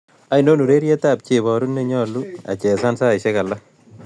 Ainon urerietap cheboruu ne ny'olu achesan saisiek alak